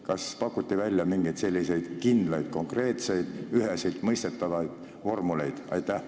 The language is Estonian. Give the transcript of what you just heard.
Kas pakuti välja mingeid selliseid kindlaid, konkreetseid, üheseltmõistetavaid vormeleid?